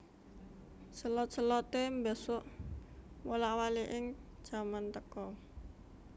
Selot selote mbesuk wolak waliking jaman teka